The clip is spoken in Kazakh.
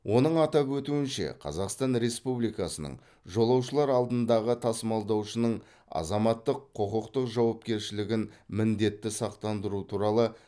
оның атап өтуінше қазақстан республикасының жолаушылар алдындағы тасымалдаушының азаматтық құқықтық жауапкершілігін міндетті сақтандыру туралы